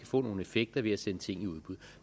få nogle effekter ved at sende ting i udbud